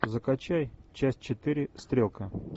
закачай часть четыре стрелка